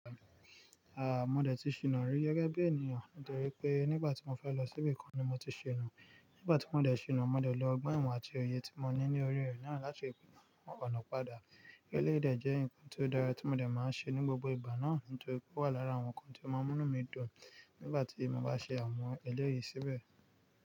Mo dé ti ṣìnà rí gẹ́gẹ́ bí ènìyàn nítorí pé nígbà tí mo fẹ́ lọ síbì kan ni mo ti ṣìnà. Nígbà tí mo dé ṣìnà, mo dé lé ọgbọ́n ìwọ̀n àti oye tí mo ní ní orí rẹ náà láti mọ ọ̀nà padà. Eléyi de jẹ́ nǹkan tí ó dára tí mo dé máa ń ṣe ní gbogbo ìgbà náà nítorí pé ó wà lára àwọn nǹkan tí ó máa ń mú mí dùn nígbà tí mo bá ṣe àmọ̀ eléèyì síbẹ̀.